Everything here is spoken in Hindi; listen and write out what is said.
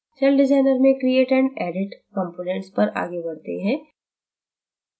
celldesigner में create and edit components पर आगे बढ़ते हैं